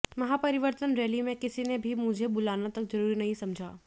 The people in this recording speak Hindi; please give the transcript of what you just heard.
महापरिवरर्तन रैली में किसी ने मुझे बुलाना तक जरूरी नहीं समझा